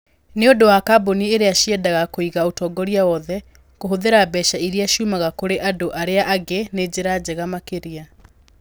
Nĩ ũndũ wa kambuni iria ciendaga kũiga ũtongoria wothe, kũhũthĩra mbeca iria ciumaga kũrĩ andũ arĩa angĩ nĩ njĩra njega makĩria.